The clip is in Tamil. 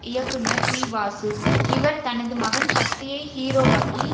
இயக்குனர் பி வாசு இவர் தனது மகன் ஷக்தியை ஹீரோவாக்கி